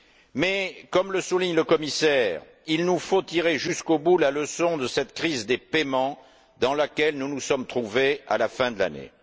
Mais, comme le souligne le commissaire, il nous faut tirer jusqu'au bout la leçon de cette crise des paiements dans laquelle nous nous sommes trouvés à la fin de l'année.